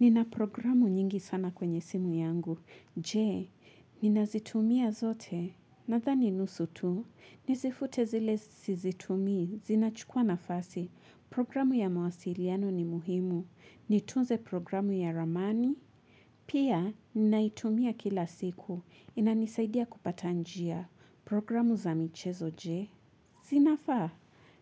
Nina programu nyingi sana kwenye simu yangu. Je, ninazitumia zote. Nadhani nusu tu, nizifute zile sizitumi, zinachukua nafasi. Programu ya mawasiliano ni muhimu. Nitunze programu ya ramani. Pia, ninaitumia kila siku. Inanisaidia kupata njia. Programu za michezo, je. Zinafaa.